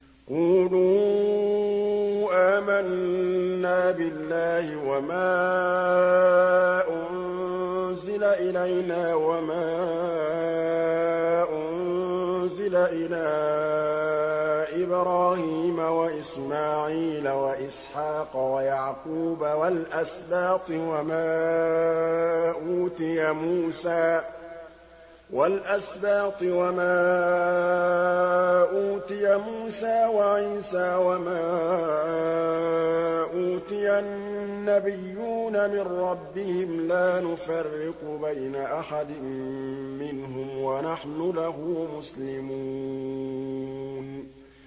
قُولُوا آمَنَّا بِاللَّهِ وَمَا أُنزِلَ إِلَيْنَا وَمَا أُنزِلَ إِلَىٰ إِبْرَاهِيمَ وَإِسْمَاعِيلَ وَإِسْحَاقَ وَيَعْقُوبَ وَالْأَسْبَاطِ وَمَا أُوتِيَ مُوسَىٰ وَعِيسَىٰ وَمَا أُوتِيَ النَّبِيُّونَ مِن رَّبِّهِمْ لَا نُفَرِّقُ بَيْنَ أَحَدٍ مِّنْهُمْ وَنَحْنُ لَهُ مُسْلِمُونَ